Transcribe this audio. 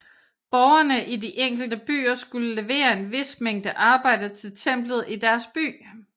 Borgerne i de enkelte byer skulle levere en vis mængde arbejde til templet i deres by